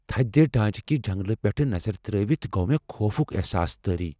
تھدِ ڈانچہِ كہِ جنگلہٕ پیٹھہِ نظر تر٘ٲوِتھ گو مےٚ خوفُك احساس طٲری ۔